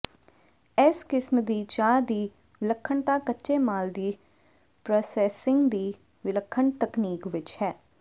ਇਸ ਕਿਸਮ ਦੀ ਚਾਹ ਦੀ ਵਿਲੱਖਣਤਾ ਕੱਚੇ ਮਾਲ ਦੀ ਪ੍ਰਾਸੈਸਿੰਗ ਦੀ ਵਿਲੱਖਣ ਤਕਨੀਕ ਵਿੱਚ ਹੈ